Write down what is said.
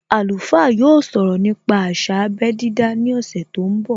Alùfá yóò sọ̀rọ̀ nípa àsà abé dídá ní ọ̀sẹ̀ tó ń bọ̀